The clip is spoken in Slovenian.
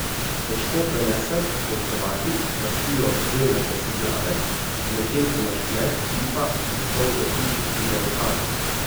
Težko prenesem, ko Hrvati lastijo zeljnate si glave, medtem ko naš kmet hlipa in solze briše si v rokave.